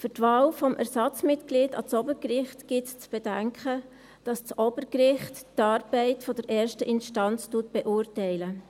Für die Wahl des Ersatzmitglieds an das Obergericht gilt es zu bedenken, dass das Obergericht die Arbeit der ersten Instanz beurteilt.